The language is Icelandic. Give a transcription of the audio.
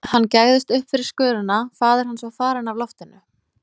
Hann gægðist upp fyrir skörina, faðir hans var farinn af loftinu.